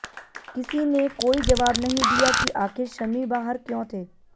किसी ने कोई जवाब नहीं दिया कि आखिर शमी बाहर क्यों थे